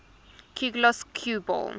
cuegloss cue ball